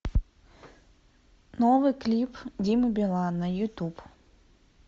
новый клип димы билана ютуб